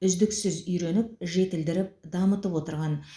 үздіксіз үйреніп жетілдіріп дамытып отырған